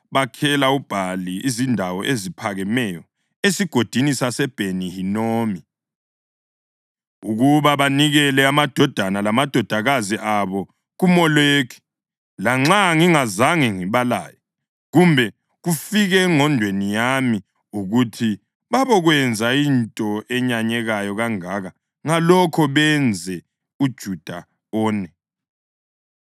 Bakhela uBhali izindawo eziphakemeyo eSigodini saseBheni-Hinomu ukuba banikele amadodana lamadodakazi abo kuMoleki, lanxa ngingazange ngibalaye, kumbe kufike engqondweni yami, ukuthi babokwenza into eyenyanyeka kangaka ngalokho benze uJuda one.